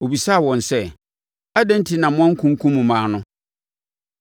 Ɔbisaa wɔn sɛ, “Adɛn enti na moankunkum mmaa no?